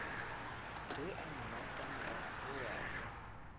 ge a mmatamela o a